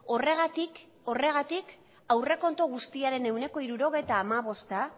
horregatik horregatik aurrekontu guztiaren ehuneko hirurogeita hamabosta